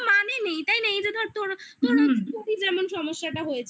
কোনো মানে নেই তাই নেই যে ধর তোর তোর যেমন সমস্যাটা হয়েছিল